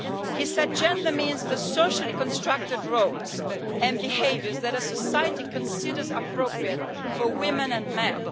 He said that it means the socially constructed roles and behaviours that a society considers appropriate for women and men.